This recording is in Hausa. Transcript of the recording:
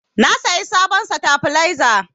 Na sayi sabon satabaleza